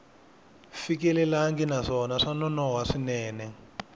fikelelangi naswona swa nonoha swinene